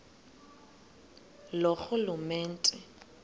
loorhulumente